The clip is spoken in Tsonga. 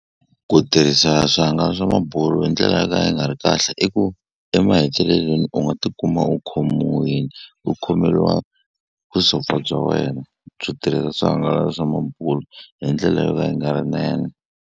Ku tirhisa swihangalasamabulo hi ndlela yo ka yi nga ri kahle i ku emahetelelweni u nga ti kuma u khomiwile u khomeriwa vusopfa bya wena byo tirhisa swihangalasa swa mabulo hi ndlela yo ka yi nga ri nene.